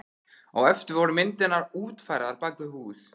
Á eftir voru myndirnar útfærðar bak við hús.